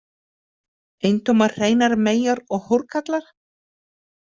Eintómar hreinar meyjar og hórkarla?